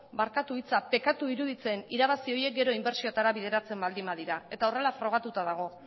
barkatu hitza pekatu iruditzen irabazi horiek gero inbertsioetara bideratzen baldin badira eta horrela frogatuta dago